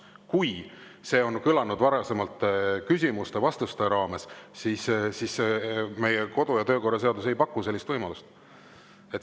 Kui see on kõlanud varasemalt küsimuste-vastuste raames, siis meie kodu‑ ja töökorra seadus ei paku sellist võimalust.